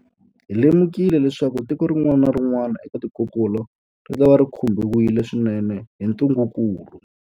Hi lemukile leswaku tiko rin'wana na rin'wana eka tikokulu ritava ri khumbiwile swinene hi ntungukulu.